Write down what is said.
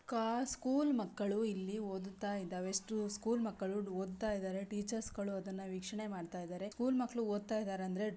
school ಮಕ್ಕಳು ಇಲ್ಲಿ ಓದುತ್ತಾ ಇದ್ದಾವೆ ಸ್ಕೂಲ್ ಮಕ್ಕಳು ಓದುತ್ತಾ ಇದ್ದಾರೆ ಟೀಚರ್ಸ್ ಗಳು ಅದನ್ನು ವೀಕ್ಷಣೆ ಮಾಡ್ತಾ ಇದ್ದಾರೆ ಸ್ಕೂಲ್ ಮಕ್ಕಳು ಓದ್ತಾ ಇದಾರೆ ಅಂದ್ರೆ--